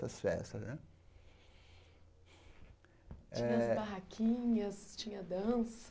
Das festas né eh tinha as barraquinhas, tinha a dança.